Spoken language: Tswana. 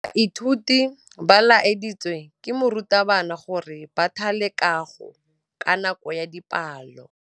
Baithuti ba laeditswe ke morutabana gore ba thale kagô ka nako ya dipalô.